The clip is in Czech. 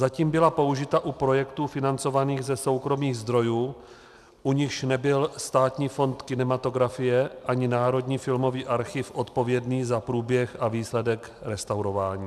Zatím byla použita u projektů financovaných ze soukromých zdrojů, u nichž nebyl Státní fond kinematografie ani Národní filmový archiv odpovědný za průběh a výsledek restaurování.